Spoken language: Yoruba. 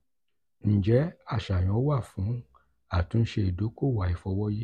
njẹ aṣayan wa fun atunse idokowo aifọwọyi?